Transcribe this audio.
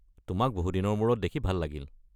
তোমাক বহু দিনৰ মূৰত দেখি ভাল লাগিল।